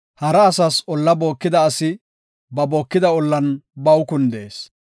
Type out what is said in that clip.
Hara asas olla bookida asi ba bookida ollan baw kundees.